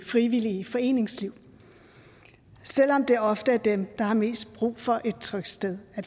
frivillige foreningsliv selv om det ofte er dem der har mest brug for et trygt sted at